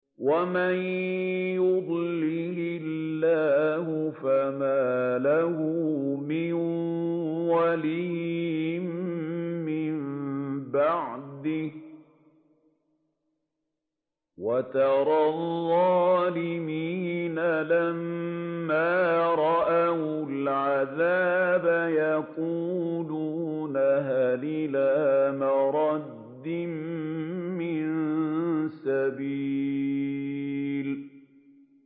وَمَن يُضْلِلِ اللَّهُ فَمَا لَهُ مِن وَلِيٍّ مِّن بَعْدِهِ ۗ وَتَرَى الظَّالِمِينَ لَمَّا رَأَوُا الْعَذَابَ يَقُولُونَ هَلْ إِلَىٰ مَرَدٍّ مِّن سَبِيلٍ